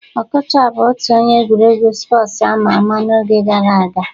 Okocha bụ otu onye egwuregwu spọsu ama ama n'oge gara aga